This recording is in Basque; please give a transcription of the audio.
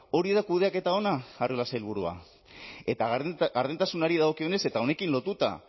hori da kudeaketa ona arriola sailburua eta gardentasunari dagokionez eta honekin lotuta